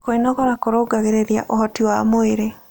Kwĩnogora kũrũngagĩrĩrĩa ũhotĩ wa mwĩrĩ